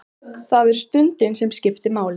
Það er stundin sem skiptir máli.